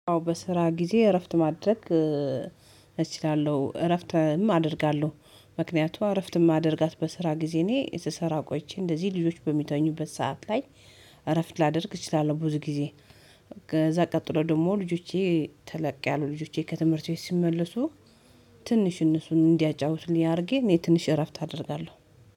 አዎ በስራ ጊዜ እረፍት ማድረግ እችላለሁ እረፍትም አደርጋለሁ። ምክንያቱም እረፍትም እማደርጋት በስራ ጊዜ እኔ ስሰሰራ ቆይቼ እንደዚህ ልጆች በሚተኙበት ሰዓት ላይ እረፍት ላደርግ እችላለሁ። ብዙ ጊዜ። ከዛ ቀጥሎ ደግሞ ልጆቼ ተለቅ ያሉ ልጆቼ ከትምህርት ቤት ሲመልሱ። ትንሽ እነሱን እንዲያጫውትልኝ አድርጌ እኔ ትንሽ እረፍት አደርጋለሁ